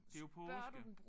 Det jo påske